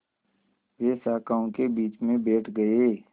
वे शाखाओं के बीच में बैठ गए